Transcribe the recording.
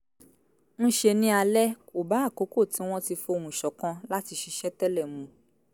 ń ṣe ní alẹ́ kò bá àkókò tí wọ́n ti fohùn ṣọ̀kan láti ṣiṣẹ́ tẹ́lẹ̀ mu